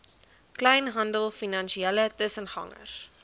kleinhandel finansiële tussengangers